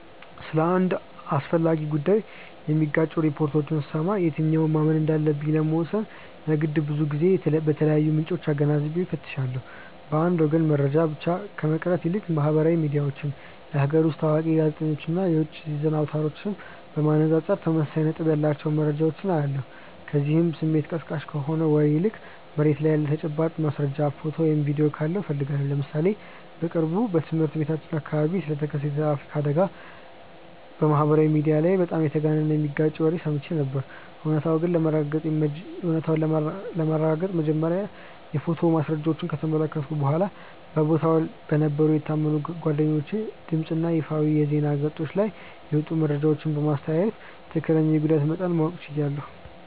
ስለ አንድ አስፈላጊ ጉዳይ የሚጋጩ ሪፖርቶችን ስሰማ የትኛውን ማመን እንዳለብኝ ለመወሰን የግድ ብዙ የተለያዩ ምንጮችን አገናዝቤ እፈትሻለሁ። በአንድ ወገን መረጃ ብቻ ከመቅረት ይልቅ ማህበራዊ ሚዲያዎችን፣ የሀገር ውስጥ ታዋቂ ጋዜጠኞችን እና የውጭ የዜና አውታሮችን በማነጻጸር ተመሳሳይ ነጥብ ያላቸውን መረጃዎች እለያለሁ፤ ከዚያም ስሜት ቀስቃሽ ከሆነ ወሬ ይልቅ መሬት ላይ ያለ ተጨባጭ ማስረጃ፣ ፎቶ ወይም ቪዲዮ ካለው እፈልጋለሁ። ለምሳሌ በቅርቡ በትምህርት ቤታችን አካባቢ ስለተከሰተ የትራፊክ አደጋ በማህበራዊ ሚዲያ ላይ በጣም የተጋነነና የሚጋጭ ወሬ ሰምቼ ነበር፤ እውነታውን ለማረጋገጥ መጀመሪያ የፎቶ ማስረጃዎችን ከተመለከትኩ በኋላ፣ በቦታው በነበሩ የታመኑ ጓደኞቼ ድምፅ እና በይፋዊ የዜና ገጾች ላይ የወጡትን መረጃዎች በማስተያየ ትክክለኛውን የጉዳት መጠን ማወቅ ችያለሁ።